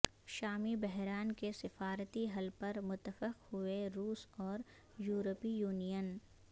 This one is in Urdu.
شامی بحران کے سفارتی حل پر متفق ہوئے روس اور یوروپی یونین